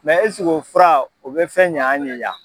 o fura o bɛ fɛn ɲɛn anw ye yan.